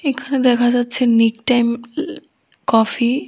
এখানে দেখা যাচ্ছে নিক টাইম আ কফি ।